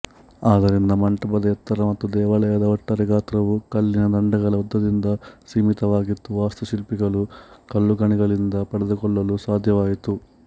ಆದ್ದರಿಂದ ಮಂಟಪದ ಎತ್ತರ ಮತ್ತು ದೇವಾಲಯದ ಒಟ್ಟಾರೆ ಗಾತ್ರವು ಕಲ್ಲಿನ ದಂಡಗಳ ಉದ್ದದಿಂದ ಸೀಮಿತವಾಗಿತ್ತು ವಾಸ್ತುಶಿಲ್ಪಿಗಳು ಕಲ್ಲುಗಣಿಗಳಿಂದ ಪಡೆದುಕೊಳ್ಳಲು ಸಾಧ್ಯವಾಯಿತು